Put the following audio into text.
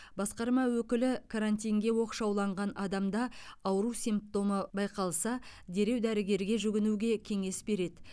басқарма өкілі карантинге оқшауланған адамда ауру симптомы байқалса дереу дәрігерге жүгінуге кеңес береді